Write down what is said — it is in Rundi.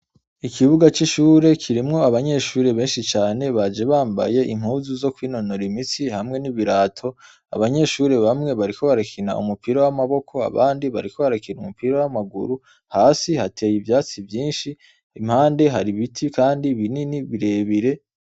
Ikibuga c'ishure kirimwo abanyeshuri beshi cane baje bambaye impuzu zo kwinonora imitsi hamwe n'ibirato abanyeshuri bamwe bariko barakina umupira w'amaboko abandi bariko barakina umupira w'amaguru hasi hateye ivyatsi vyishi impande hari ibiti kandi binini birebire.